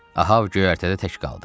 Ahab göyərtədə tək qaldı.